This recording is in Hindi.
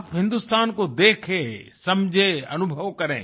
आप हिंदुस्तान को देखेँ समझें अनुभव करें